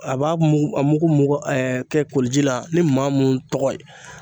A b'a mugu a mugu mugan ɛɛ kɛ koliji la ni maa mun tɔgɔ ye